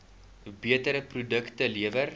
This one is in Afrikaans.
beter produkte lewer